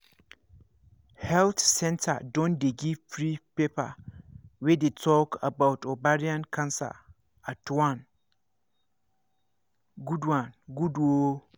health centre don dey give free paper wey dey talk about ovarian cancer that one good one good ooo